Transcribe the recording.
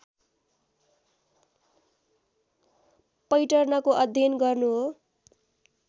पैटर्नको अध्ययन गर्नु हो